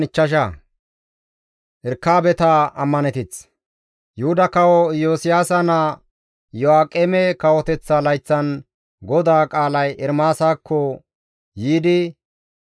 Yuhuda kawo Iyosiyaasa naa Iyo7aaqeme kawoteththa layththan GODAA qaalay Ermaasakko yiidi,